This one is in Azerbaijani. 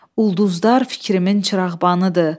Ulduzlar fikrimin çırağbanıdır.